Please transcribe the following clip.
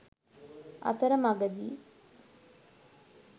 අතර මගදී